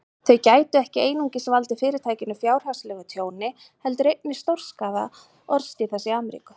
Þau gætu ekki einungis valdið Fyrirtækinu fjárhagslegu tjóni, heldur einnig stórskaðað orðstír þess í Ameríku.